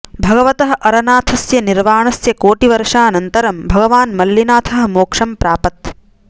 भगवतः अरनाथस्य निर्वाणस्य कोटिवर्षानन्तरं भगवान् मल्लिनाथः मोक्षं प्रापत्